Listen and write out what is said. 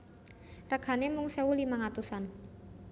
Regane mung sewu limang atusan